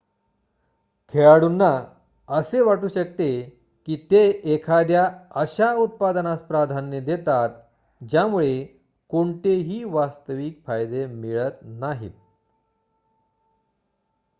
खेळाडूंना असे वाटू शकते की ते एखाद्या अशा उत्पादनास प्राधान्य देतात ज्यामुळे कोणतेही वास्तविक फायदे मिळत नाहीत